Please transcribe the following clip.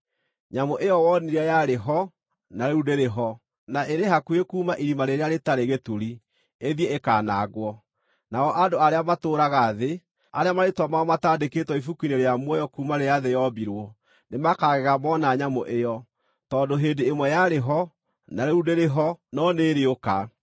Nyamũ ĩyo wonire yarĩ ho, na rĩu ndĩrĩ ho, na ĩrĩ hakuhĩ kuuma Irima-rĩrĩa-Rĩtarĩ-Gĩturi ĩthiĩ ĩkaanangwo. Nao andũ arĩa matũũraga thĩ, arĩa marĩĩtwa mao mataandĩkĩtwo ibuku-inĩ rĩa muoyo kuuma rĩrĩa thĩ yombirwo nĩmakagega mona nyamũ ĩyo, tondũ hĩndĩ ĩmwe yarĩ ho, na rĩu ndĩrĩ ho, no nĩĩrĩũka.